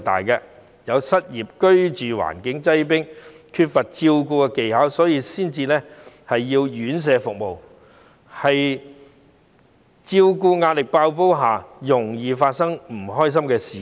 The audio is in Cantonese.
有些家庭居住環境擠迫，家人缺乏照顧技巧，所以需要院舍服務，在照顧壓力爆煲的情況下，很容易會發生不開心的事件。